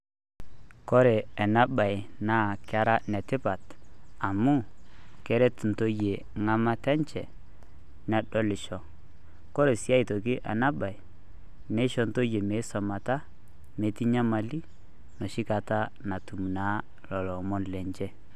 Kore ena baye naa Kera ene Tipat amu Keret entoyie engamata enye nedolisho, ore sii aitoki ena baye kisho intoyie meisumata metii enyamali enoshi Kata naa natum lelo Omon lenye.